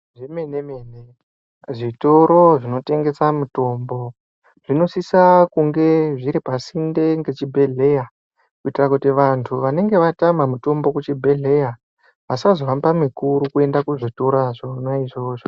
Zvemene mene zvitoro zvinotengesa mitombo zvinosisawo kunge zviri pasinde ngechibhedhleya kuitira kuti vantu vanenge vatama mitombo kuchibhedhleya vasazohamba mikuru kuenda kuzvitoro zvona izvozvo.